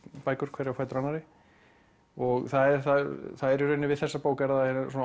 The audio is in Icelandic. bækur hverja á fætur annarri það er í rauninni við þessa bók eru það